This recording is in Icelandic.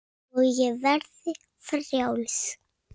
Og ég verði frjáls.